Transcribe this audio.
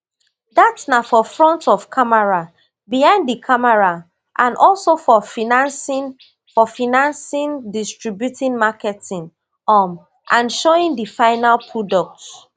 dat na for front of camera behind di camera and also for financing for financing distribution marketing um and showing di final product